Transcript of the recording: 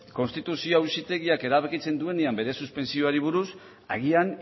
konstituzio auzitegiak erabakitzen duenean bere suspentsioari buruz agian